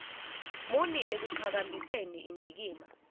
muni ekuqhakambiseni indikimba